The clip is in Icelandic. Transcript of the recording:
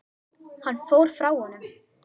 Hann fór frá honum.